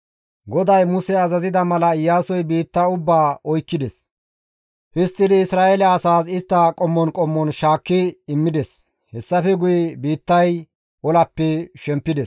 GODAY Muse azazida mala Iyaasoy biitta ubbaa oykkides; histtidi Isra7eele asaas istta qommon qommon shaakki immides; hessafe guye biittay olappe shempides.